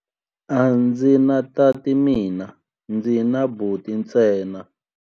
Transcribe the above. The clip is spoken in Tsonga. A ndzi na tati mina, ndzi na buti ntsena.